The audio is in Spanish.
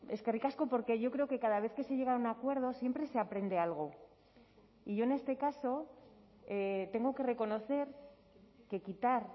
eskerrik asko porque yo creo que cada vez que se llega a un acuerdo siempre se aprende algo y yo en este caso tengo que reconocer que quitar